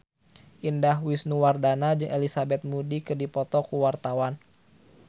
Indah Wisnuwardana jeung Elizabeth Moody keur dipoto ku wartawan